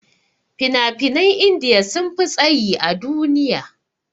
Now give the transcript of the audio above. Fina-finan india sunfi tsayi a duniya.